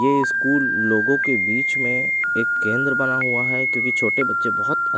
ये स्कूल लोगों के बीच में एक केंद्र बना हुआ है क्योंकि छोटे बच्चे बहुत--